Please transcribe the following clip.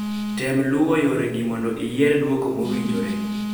tem luwo yore gi mondo iyier duoko mowinjore